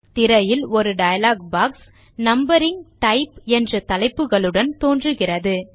திரையில் ஒரு dialogue box numbering type என்ற தலைப்புகளுடன் தோன்றுகிறது